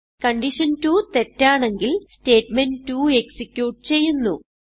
കണ്ടീഷൻ2 തെറ്റാണെങ്കിൽ statement two execute ചെയ്യുന്നു